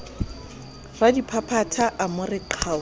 radiphaphatha a mo re qhau